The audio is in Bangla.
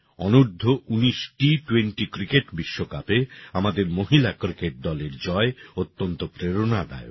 অনূর্ধ্ব উনিশ T20 ক্রিকেট বিশ্বকাপে আমাদের মহিলা ক্রিকেট দলের জয় অত্যন্ত প্রেরণাদায়ক